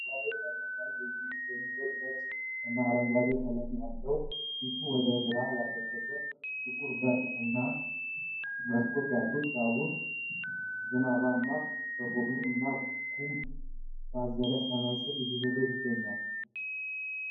በባቡር ሃዲድ ላይ የሚሄድ ነጭ እና አረንጓዴ ቀለም ያለው፣ ፊቱን ወደ ግራ ያደረገ ጥቁር በር እና መስኮት ያሉት ባቡር ዝናባማ በሆነ እና ጉም ባዘለ ሰማይ ስር እየሄደ ይገኛል።